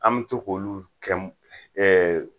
An bi to k'olu kɛ m ɛɛ